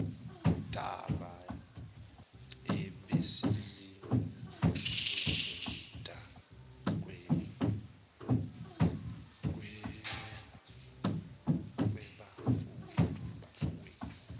daba ebesiludingida webafowethu